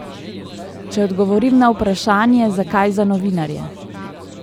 Če odgovorim na vprašanje, zakaj za novinarje?